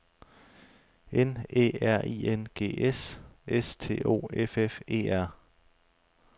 N Æ R I N G S S T O F F E R